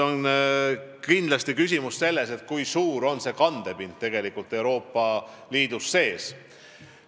Kindlasti on küsimus selles, kui suur on see kandepind Euroopa Liidu sees.